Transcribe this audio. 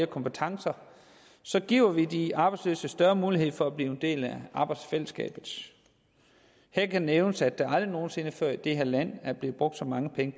kompetencer giver vi de arbejdsløse større mulighed for at blive en del af arbejdsfællesskabet her kan nævnes at der aldrig nogen sinde før i det her land er blevet brugt så mange penge